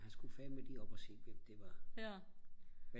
han skulle fandme lige op at se hvem det var